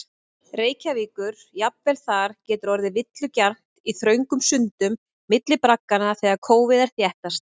Reykjavíkur, jafnvel þar getur orðið villugjarnt í þröngum sundum milli bragganna þegar kófið er þéttast.